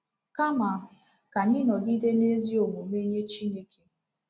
Kama, ka anyị nọgide n’ezi omume nye Chineke.